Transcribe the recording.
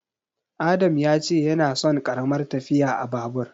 Adam ya ce yana son ƙaramar tafiya a Babur.